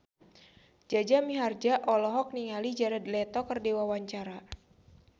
Jaja Mihardja olohok ningali Jared Leto keur diwawancara